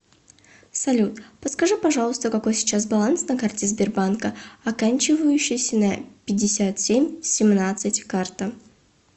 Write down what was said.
салют подскажи пожалуйста какой сейчас баланс на карте сбербанка оканчивающейся на пятьдесят семь семнадцать карта